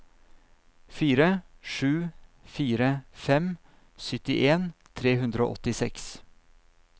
fire sju fire fem syttien tre hundre og åttiseks